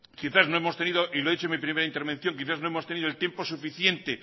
quizá no hemos tenido y lo he dicho en mi primera intervención el tiempo suficiente